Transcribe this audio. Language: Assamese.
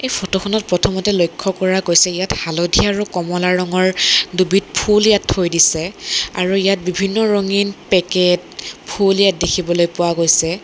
ফটো খনত প্ৰথমতে লক্ষ্য কৰা গৈছে ইয়াত হালধীয়া আৰু কমলা ৰঙৰ দুবিধ ফুল ইয়াত থৈ দিছে আৰু ইয়াত বিভিন্ন ৰঙীন পেকেট ফুল ইয়াত দেখিবলৈ পোৱা গৈছে।